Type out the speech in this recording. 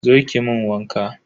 Zo ki mun waka.